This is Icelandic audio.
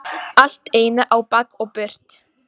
Allt í einu á bak og burt.